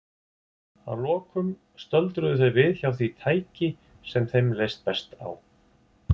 Að lokum stöldruðu þau við hjá því tæki sem þeim leist best á.